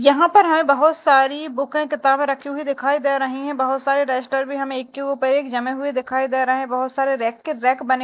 यहां पर हमें बहुत सारी बुके किताबे रखी हुई दिखाई दे रही है बहुत सारे रजिस्टर भी हमें एक के ऊपर एक जमे हुए दिखाई दे रहे है बहुत सारे रैक के रैक बने --